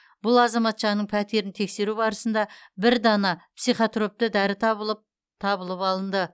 бұл азаматшаның пәтерін тексеру барысында бір дана психотропты дәрі табылып алынды